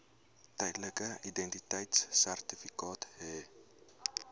tydelike identiteitsertifikaat hê